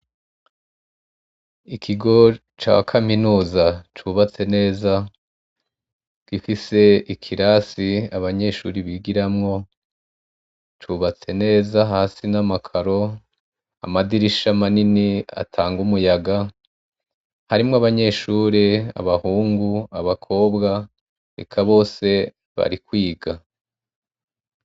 Ikigo ca kaminuza cubatse neza gifise ikirasi abanyeshure bigiramwo, cubatse neza hasi nama caro ,amadirisha manini atanga umuyaga ,harimwo abanyeshure abahungu, abakobwa, eka bose bari kwiga.